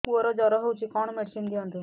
ପୁଅର ଜର ହଉଛି କଣ ମେଡିସିନ ଦିଅନ୍ତୁ